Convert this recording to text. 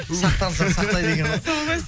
сақтансаң сақтайды екен ғой сол ғой